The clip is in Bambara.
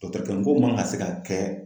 ko man kan ka se ka kɛ